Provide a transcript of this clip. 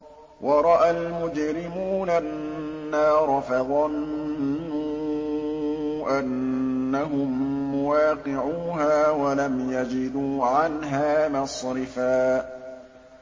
وَرَأَى الْمُجْرِمُونَ النَّارَ فَظَنُّوا أَنَّهُم مُّوَاقِعُوهَا وَلَمْ يَجِدُوا عَنْهَا مَصْرِفًا